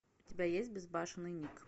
у тебя есть безбашенный ник